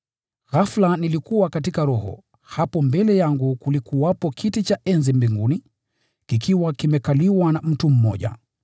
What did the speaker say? Ghafula nilikuwa katika Roho, na hapo mbele yangu kilikuwepo kiti cha enzi mbinguni, kikiwa kimekaliwa na mtu.